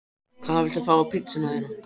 Hvað viltu fá á pizzuna þína?